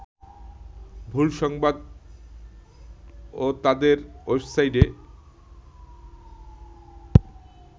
ভুল ‘সংবাদ’ওতাদের ওয়েবাসাইটে